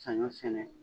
Saɲɔ sɛnɛ